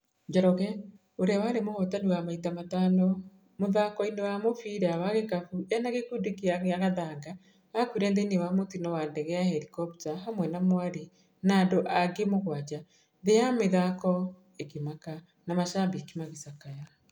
Njoroge, ũrĩa warĩ mũhotani wa maita matano mũthakoinĩ wa mũbira wa gĩkabũ ena gĩkundi kĩa Gathanga akuire thĩinĩ wa mũtino wa ndege ya helikopta hamwe na mwarĩ na andũ angĩ mũgwanja, thĩ ya mathako ĩkĩmaka na mashambiki magĩcakaya.